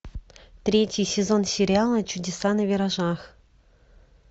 третий сезон сериала чудеса на виражах